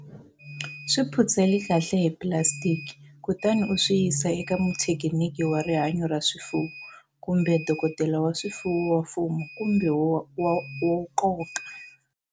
Swi phutseli kahle hi pulasitiki kutani u swi yisa eka muthekiniki wa rihanyo ra swifuwo kumbe dokdela wa swifuwo wa mfumo kumbe wo ka.